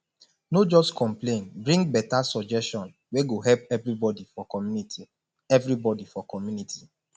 no just complain bring better suggestion wey go help everybody for community everybody for community